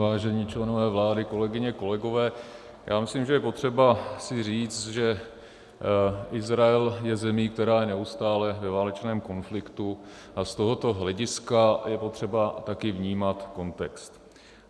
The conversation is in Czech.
Vážení členové vlády, kolegyně, kolegové, já myslím, že je potřeba si říct, že Izrael je zemí, která je neustále ve válečném konfliktu, a z tohoto hlediska je potřeba také vnímat kontext.